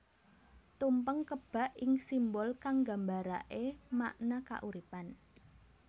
Tumpeng kebak ing simbol kang nggambaraké makna kauripan